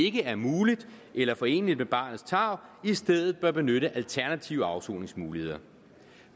ikke er muligt eller foreneligt med barnets tarv i stedet bør benytte alternative afsoningsmuligheder